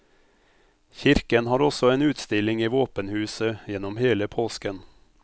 Kirken har også en utstilling i våpenhuset gjennom hele påsken.